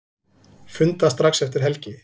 Funda strax eftir helgi